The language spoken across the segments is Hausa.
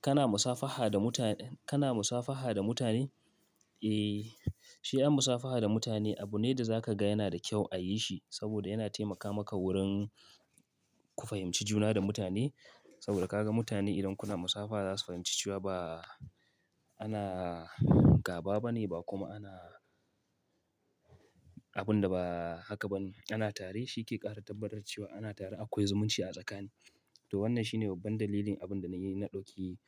Kana musafaha da mutane? Kana musafaha da mutane? Eh, shi an musafaha da mutane abu ne da za ka ga yana da kyau a yi shi saboda yana taimaka maka wurin ku fahimci juna da mutane. Saboda ka ga mutane idan kuna musafaha za su fahimci cewa ba ana gaba ba ne ba kuma ana abin da ba haka ba ne ana tare. Shi ke ƙara tabbatar cewa ana tare akwai zumunci a tsakani. To wannan shine babban dalilin abin da na yi, na ɗauki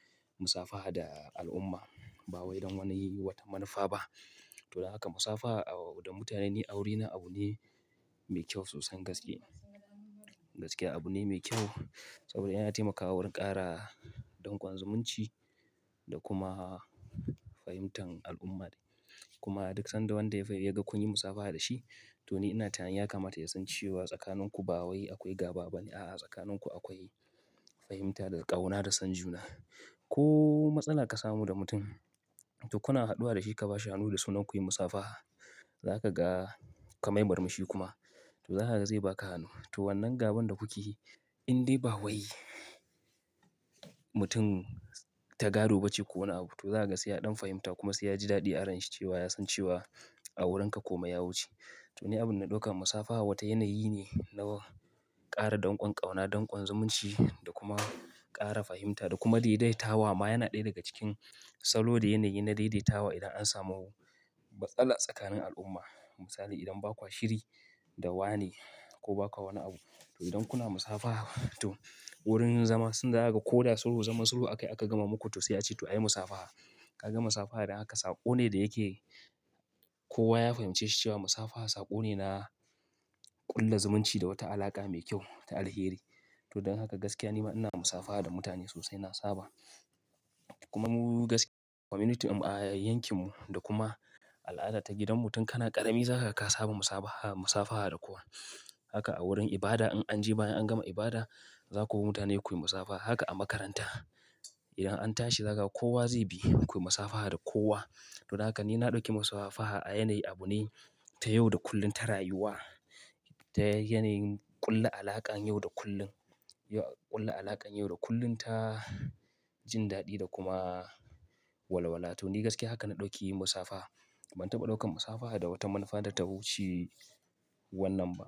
musafaha da al'umma ba wai don wani wata manufa ba. To don haka musafaha da mutane ni a wurina abu ne mai kyau sosan gaske. Gaskiya abu ne mai kyau saboda yana taimakawa wurin ƙara dankon zumunci da kuma fahimtar al'umma. Kuma a duk sanda wanda ya ga kun yi musafaha da shi to ni ina tunanin ya kamata ya san cewa tsakaninku ba wai akwai gaba ba ne. A'a, tsakaninku akwai fahimta da ƙauna da son juna. Ko matsala ka samu da mutum to kuna haɗuwa da shi ka ba shi hannu da suna kun yi musafaha. Za ka ga ka mai marmushi kuma to za ka ga zai ba ka hannu. To wannan gaban da kuke yi in dai ba wai mutum ta gado ba ce ko wani abu, to za ka ga sai ya ɗan fahimta kuma sai ya ji daɗi a ranshi cewa ya san cewa a wurinka kome yawuce. To ni abin da na ɗauka musafaha wata yanayi ne na ƙara dankon ƙauna, dankon zumunci da kuma ƙara fahimta da kuma daidaitawa. Ma yana ɗaya daga cikin salo da yanayi na daidaitawa idan an samu matsala tsakanin al'umma. Misali idan bakwa shiri da wane ko bakwa wani abu, to idan kuna musafaha to wurin zama sun da zaga ko da sulhu koda zama sulhu ake aka gama muku to sai ace to a yi musafaha. Ka ga musafaha da haka saƙo ne da yake kowa ya fahimci shi cewa musafaha saƙo ne na ƙulla zumunci da wata alaƙa mai kyau ta alheri. To don haka gaskiya nima ina musafaha da mutane sosai na saba. Kuma mu gaskiya community a yankinmu da kuma al'ada ta gidan mutum kana ƙarami za ka kasa ba musafaha, musafaha da kowa. Haka a wurin ibada in an je bayan an gama ibada za ku bi mutane ku yi musafaha. Haka a makaranta idan an tashi za ka ga kowa zai bi ku yi musafaha da kowa. To don haka ni na ɗauki musafaha a yanayi abu ne ta yau da kullum ta rayuwa. Ta yanayin ƙulla alaƙan yau da kullum, ƙulla alaƙan yau da kullum, ta jin daɗi da kuma walwala. To ni gaskiya haka na ɗauki musafaha. Ban taɓa ɗaukar musafaha da wata manufa da ta wuce wannan ba.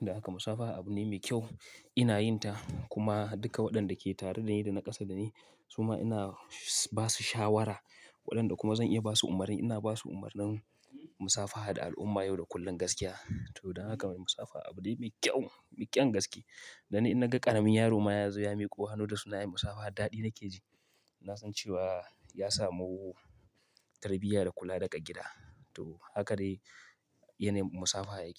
Da haka musafaha abu ne mai kyau ina yin ta kuma duka waɗanda ke tare da ni da na ƙasa da ni suma ina ba su shawara. Waɗanda kuma zan iya ba su umarni ina ba su umarnin musafaha da al'umma yau da kullum gaskiya. To don haka musafaha abu ne mai kyau, me ƙyan gaske. Dan ni in naga ƙaramin yaro ma ya zo ya miƙo hannu da suna yin musafaha daɗi nake ji. Na san cewa ya samu tarbiyya da kula daga gida. To haka dai yanai musafaha yake.